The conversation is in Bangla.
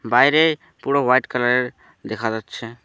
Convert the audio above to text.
বাইরে পুরো হোয়াইট কালারের দেখা যাচ্ছে।